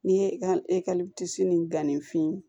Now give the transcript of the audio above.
N'i ye e ka ekɔliso ni gan ni fin